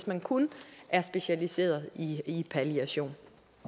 man kun er specialiseret i palliation